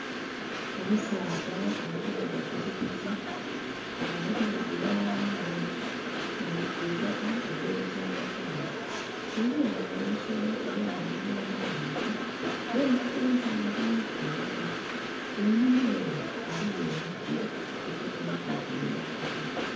Omusaadha ali kuvuga pikipiki, nga ali kuvugira kwitaka ely'olukyangakyanga. Ghaligho ghano olusolo olwamagulu amaghanvu n'enkoto empanvu lulala. Einuma ere ghaliyo emiti egibonheka otiti minhaazi.